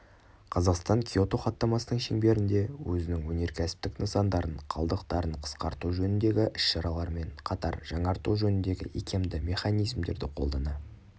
қазақстан киото хаттамасының шеңберінде өзінің өнеркәсіптік нысандарын қалдықтарын қысқарту жөніндегі іс шаралармен қатар жаңарту жөніндегі икемді механизмдерді қолдана